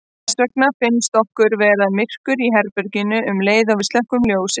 Þess vegna finnst okkur verða myrkur í herberginu um leið og við slökkvum ljósið.